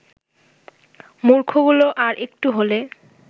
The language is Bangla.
মূর্খগুলো আর একটু হলে